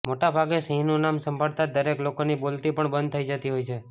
મોટાભાગે સિંહનું નામ સાંભળતા જ દરેક લોકોંની બોલતી પણ બંધ થઇ જતી હોય છે